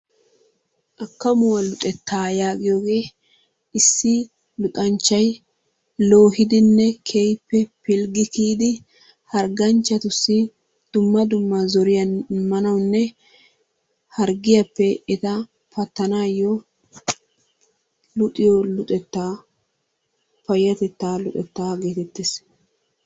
Akkamuwa luxetta yaagiyooge issi luxanchchay logidinne keehippe pilggi kiyyidi hargganchchatussi dumma dumma zoriyaa immanawunne harggiyappe eta pattanaw luxiyo luxetta payyatetta luxeta geettees.